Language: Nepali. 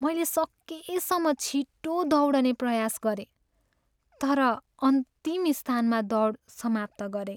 मैले सकेसम्म छिटो दौडने प्रयास गरेँ तर अन्तिम स्थानमा दौड समाप्त गरेँ।